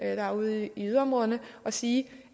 er ude i yderområderne og sige